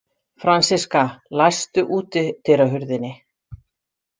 Franziska, læstu útidyrahurðinni.